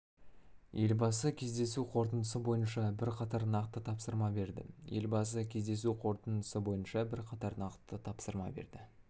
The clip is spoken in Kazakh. елбасы кездесу қорытындысы бойынша бірқатар нақты тапсырма берді елбасы кездесу қорытындысы бойынша бірқатар нақты тапсырма берді